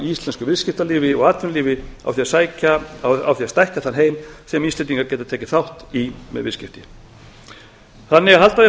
íslensku viðskiptalífi og atvinnulífi á því að stækka þann heim sem íslendingar geta tekið þátt í með viðskipti að halda því